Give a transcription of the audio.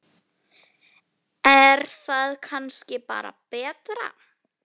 Er það kannski bara betra?